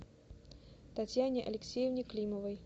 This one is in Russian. татьяне алексеевне климовой